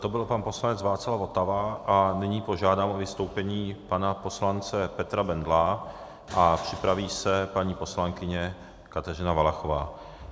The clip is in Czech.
To byl pan poslanec Václav Votava a nyní požádám o vystoupení pana poslance Petra Bendla a připraví se paní poslankyně Kateřina Valachová.